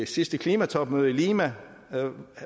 sidste klimatopmøde i lima